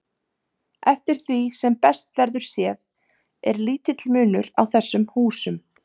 Eftir því sem best verður séð er lítill munur á þessum húsum.